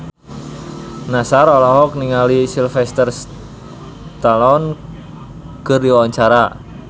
Nassar olohok ningali Sylvester Stallone keur diwawancara